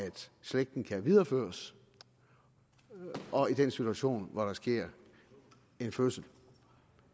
slægten kan videreføres og i den situation hvor der sker en fødsel